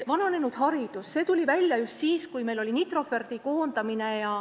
Vananenud hariduse teema tuli esile just siis, kui Nitroferdis oli koondamine.